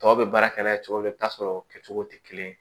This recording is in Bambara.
Tɔw bɛ baara kɛ n'a ye cogo min na i bɛ taa sɔrɔ o kɛcogo tɛ kelen ye